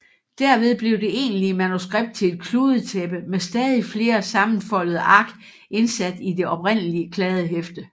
Derved blev det egentlige manuskript til et kludetæppe med stadig flere sammenfoldede ark indsat i det oprindelige kladdehæfte